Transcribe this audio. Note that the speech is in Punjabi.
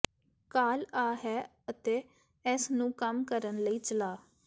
ਕਾਲ ਆ ਹੈ ਅਤੇ ਇਸ ਨੂੰ ਕੰਮ ਕਰਨ ਲਈ ਚਲਾ